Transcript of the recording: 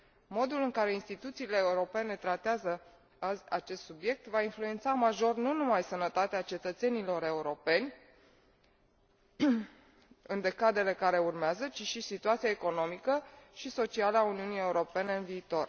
Modul în care instituțiile europene tratează acest subiect va influența major nu numai sănătatea cetățenilor europeni în decadele care urmează, ci și situația economică și socială a Uniunii Europene în viitor.